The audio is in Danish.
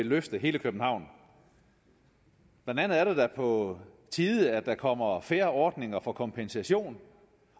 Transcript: løft for hele københavn blandt andet er det da på tide at der kommer fair ordninger for kompensation